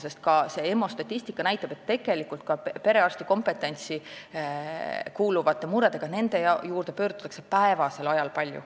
Sest EMO statistika näitab, et tegelikult pöördutakse perearsti kompetentsi kuuluvate muredega nende poole palju ka päevasel ajal.